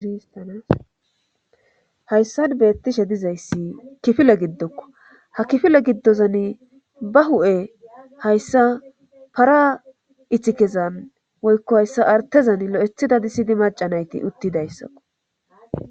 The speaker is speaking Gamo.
Hayssan beettishe dizayssi kifile giddokko ha kifile giddozan ba hu'e hayssa para iththikezan woykko hayssa artezan lo'ethida dadisidi macanayti uttidayssakko